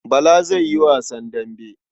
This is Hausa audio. Bala zai yi wasan dambe.